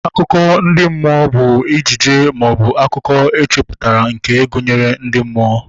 Akụkọ ndị mmụọ bụ ibe ejije maọbụ akụkọ echeputara nke gụnyere ndị mmụọ